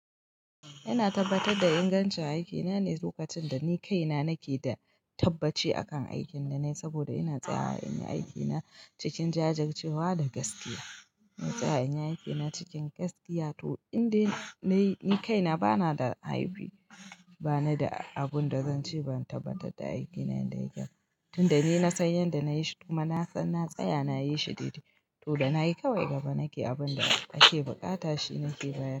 Ina tabbatar da ingancin aikina ne lokacin da ni kaina nake da tabbaci akan aikin da na yi, saboda ina tsaya wa in yi aikina cikin jajurcewa da gaskiya. Zan tsaya in yi aiki na cikin gaskiya, to indai nayi ni kaina bana da haibi, bani da abin da zance ban tabbatar da aiki na yadda ya ke ba. Tunda ni na san yanda na yi shi, kuma na san na tsaya na yi shi daidai, to da na yi kawai gaba nake abin da ake buƙata shi nake bayar.